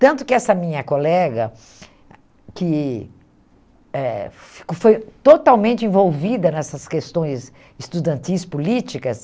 Tanto que essa minha colega, que eh que foi totalmente envolvida nessas questões estudantis, políticas...